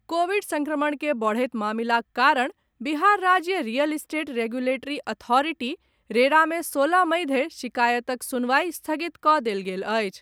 Covid संक्रमण के बढ़त मामिलाक कारण बिहार राज्य real estate regulatory authority, RERA मे सोलह मई धरि शिकायतक सुनवाई स्थगित कऽ देल गेल अछि।